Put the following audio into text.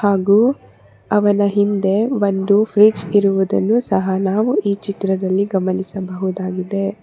ಹಾಗು ಅವನ ಹಿಂದೆ ಒಂದು ಫ್ರಿಜ್ ಇರುವುದನ್ನು ಸಹ ನಾವು ಈ ಚಿತ್ರದಲ್ಲಿ ಗಮನಿಸಬಹುದಾಗಿದೆ.